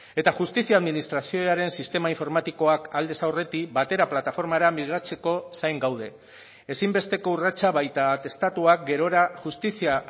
eta justizia administrazioaren sistema informatikoak aldez aurretik batera plataformara migratzeko zain gaude ezinbesteko urratsa baita atestatuak gerora justizia